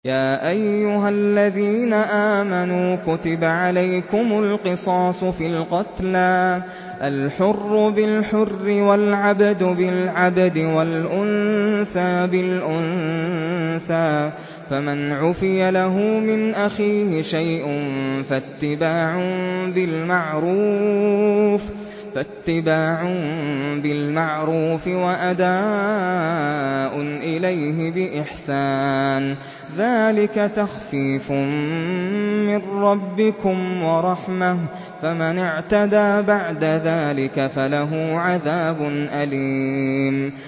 يَا أَيُّهَا الَّذِينَ آمَنُوا كُتِبَ عَلَيْكُمُ الْقِصَاصُ فِي الْقَتْلَى ۖ الْحُرُّ بِالْحُرِّ وَالْعَبْدُ بِالْعَبْدِ وَالْأُنثَىٰ بِالْأُنثَىٰ ۚ فَمَنْ عُفِيَ لَهُ مِنْ أَخِيهِ شَيْءٌ فَاتِّبَاعٌ بِالْمَعْرُوفِ وَأَدَاءٌ إِلَيْهِ بِإِحْسَانٍ ۗ ذَٰلِكَ تَخْفِيفٌ مِّن رَّبِّكُمْ وَرَحْمَةٌ ۗ فَمَنِ اعْتَدَىٰ بَعْدَ ذَٰلِكَ فَلَهُ عَذَابٌ أَلِيمٌ